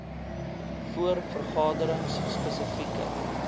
voor vergaderings spesifieke